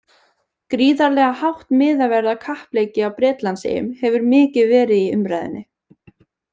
Gríðarlega hátt miðaverð á kappleiki á Bretlandseyjum hefur mikið verið í umræðunni.